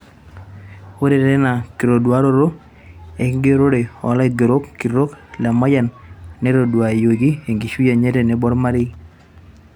ore teina kitoduaroto enkigerore o laigeroni kitok Lemayian neitoduayioki ekishui enye tenebo olmarei